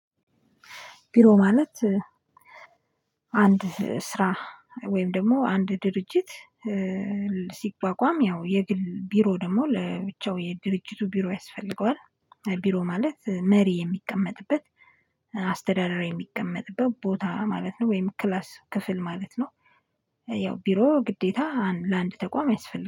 ቢሮ ማለት አንድ ስራ ወይም ደግሞ አንድ ድርጅት ሲቋቋም ያው የግል ቢሮ ደግሞ ለብቻው የድርጅቱ ቢሮ ያስፈልገዋል። ቢሮ ማለት መሪ የሚቀመጥበት አስተዳደሩ የሚቀመጥበት ቦታ ማለት ነው ወይም ክላስ ክፍል ማለት ነው። ያው ቢሮ ግዴታ ለአንድ ተቋም ያስፈልጋል